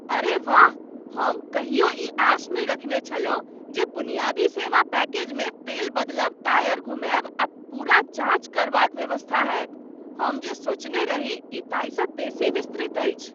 अरे वाह, हम कहियो ई आश नै रखने छलहुँ जे बुनियादी सेवा पैकेजमे तेल बदलब, टायर घुमायब आ पूरा जाञ्च करबाक व्यवस्था होयत। हम जे सोचने रही ई ताहिसँ बेसी विस्तृत अछि!